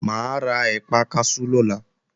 Mà á ra ẹ̀pà kaṣú lọ́la